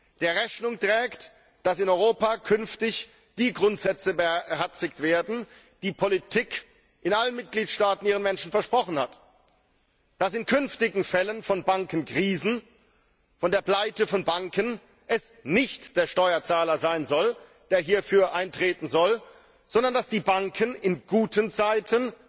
damit in Europa künftig die Grundsätze beherzigt werden, die die Politik in allen Mitgliedstaaten ihren Menschen versprochen hat, und damit es in künftigen Fällen von Bankenkrisen, von Bankenpleiten, nicht der Steuerzahler ist, der hierfür eintreten soll, sondern dass die Banken in guten Zeiten,